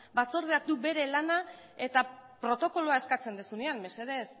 batzordeak du bere lana eta protokoloa eskatzen duzunean mesedez